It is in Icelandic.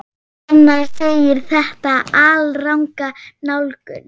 Fannar segir þetta alranga nálgun.